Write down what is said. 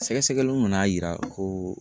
Sɛgɛsɛgɛliw nana yira kooo